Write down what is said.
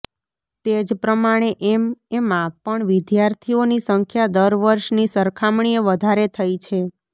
તેજ પ્રમાણે એમએમાં પણ વિદ્યાર્થીઓની સંખ્યા દરવર્ષની સરખામણીએ વધારે થઇ છે